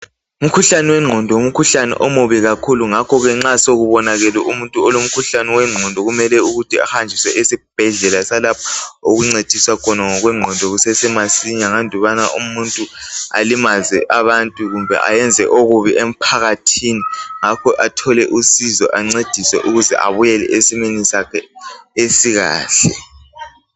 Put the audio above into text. umhuhlane wenqondo ngumkhuhlane omubi kakhulu ngakho ke nxa sekubonakele umuntu olomkhuhlane wenqondo kumele ukuthi ahanjiswe esibhedlela salapho okuncediswa khona ngokwenqondo kusesemasinya andubana ukuthi umuntu alimaze umuntu kumbe ayenze into embi emphakathini kumele athole usizo ancediswe abuyele esimweni sakhe esikahle